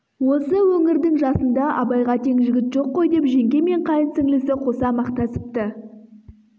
осы өңірдің жасында абайға тең жігіт жоқ қой деп жеңге мен қайын сіңлісі қоса мақтасыпты